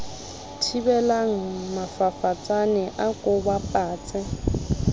thibelang mafafatsane a ko bapatse